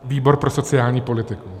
Výbor pro sociální politiku.